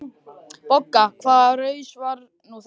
BOGGA: Hvaða raus var nú þetta?